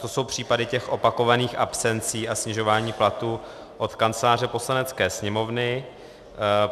To jsou případy těch opakovaných absencí a snižování platů od Kanceláře Poslanecké sněmovny.